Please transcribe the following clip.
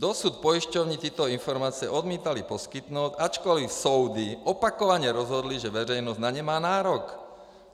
Dosud pojišťovny tyto informace odmítaly poskytnout, ačkoliv soudy opakovaně rozhodly, že veřejnost na ně má nárok!